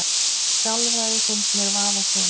Sálfræði finnst mér vafasöm